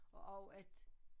Og også at